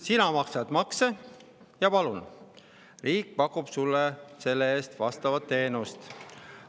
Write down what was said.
Sina maksad makse, ja palun, riik pakub sulle selle eest vastavat teenust.